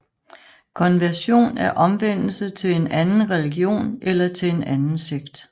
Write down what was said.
Konversion er omvendelse til en anden religion eller til en anden sekt